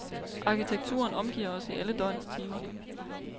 Arkitekturen omgiver os i alle døgnets timer.